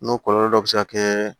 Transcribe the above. N'o kɔlɔlɔ dɔ bɛ se ka kɛ